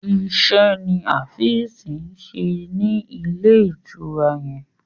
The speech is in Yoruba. Ise ní Afeez ṣe ní Ilé-ìtura yén.